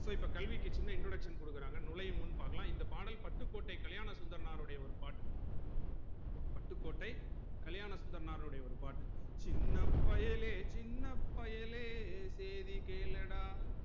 so இப்ப கல்விக்கு சின்ன introduction குடுக்குறாங்க நுழையும் முன் பாக்கலாம் இந்த பாடல் பட்டுக்கோட்டை கல்யாண சுந்தரனாருடைய ஒரு பாட்டு பட்டுக்கோட்டை கல்யாணசுந்தரனாருடைய ஒரு பாட்டு சின்ன பயலே சின்ன பயலே சேதிகேளடா